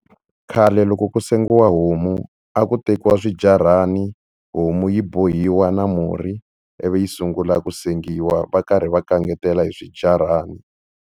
Khale loko ku sengiwa homu a ku tekiwa swijarhani homu yi bohiwa na murhi ivi yi sungula ku sengiwa va karhi va kangetela hi swijarani.